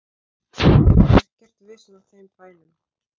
Ekkert vesen á þeim bænum.